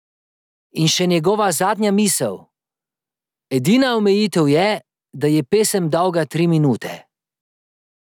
In še njegova zadnja misel: "Edina omejitev je, da je pesem dolga tri minute.